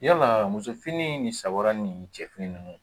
Yala muso fini ni sabaara ni cɛfini ninnu